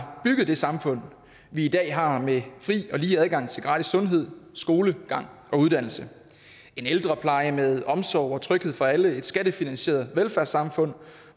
bygget det samfund vi i dag har med fri og lige adgang til gratis sundhed skolegang og uddannelse en ældrepleje med omsorg og tryghed for alle et skattefinansieret velfærdssamfund